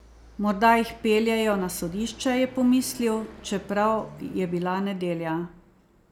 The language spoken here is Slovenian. Morda jih peljejo na sodišče, je pomislil, čeprav je bila nedelja.